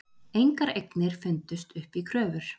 Engar eignir fundust upp í kröfur